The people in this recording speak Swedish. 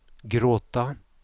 gråta